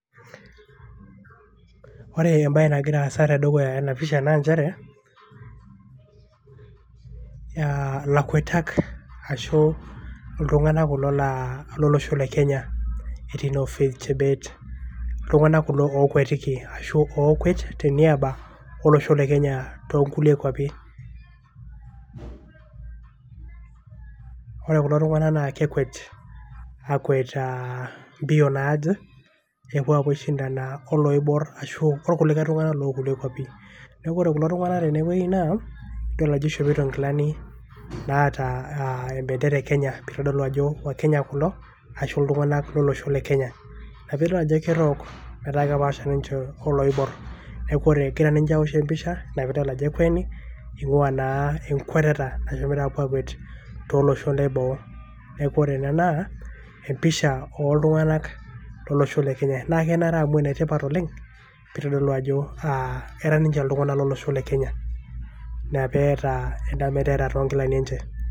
ore embae nagira aasa tedukuya ena pisha naa nchere a lakwetak ashu iltunganak kulo laa lolosho le Kenya etii noo Faith Chebet. iltunganak kulo lokwetiki ashuokwet teniaba olosho le Kenya too nkulie kwapi .ore kulo tunganak naa kekwet aa akwet mbio naje pepuo aishindana oloibor ashu okulie tunganak loo kulie kwapi. niaku ore kulo tunganak tenewuei naa idol ajo ishopito nkilani naata aa em bendera e Kenya . eitodolu ajo Wakenya kulo ashu iltunganak lolosho le Kenya .ina pidol ajo kerook kepaasha ninche oloibor niaku egira ninche aosh empisha nidol ajo ekweni ingwaa naa enkweteta eshomoito akwet tolosho leboo. niaku ore ene naa empisha oltunganak lolosho le Kenya. naa kenare amu ene tipat oleng pitodolu ajo era niche iltunganak lolosho le Kenya ina peeta enda pendera toonkilani enche.